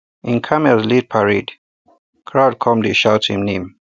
him camels lead parade crowd come dey shout him name